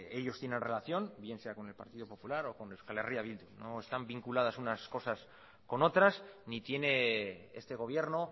ellos tienen relación bien sea con el partido popular o con euskal herria bildu no están vinculadas unas cosas con otras ni tiene este gobierno